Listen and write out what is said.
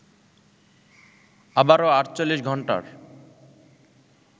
আবারো ৪৮ ঘন্টার